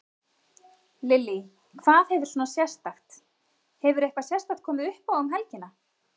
Lillý: Hvað hefur svona sérstakt, hefur eitthvað sérstakt komið uppá um helgina?